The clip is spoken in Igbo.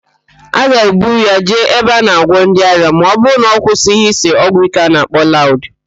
A ga-ebu ya jee ebe a na-agwọ ndị ara ma ọbụrụ na ọ kwụsịghị ịse ọgwụíké a na-akpọ laụd